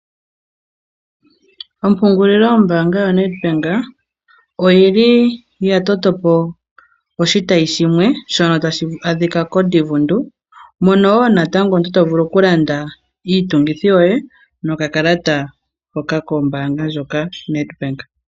Ompungulilo yombaanga yoNet bank, oyili ya toto po oshitayi shimwe shono tashi adhika ko Divundu, mono woo natango omuntu to vulu oku landa iitungithi yoye noka kalata hoka kombaanga ndjoka Net bank.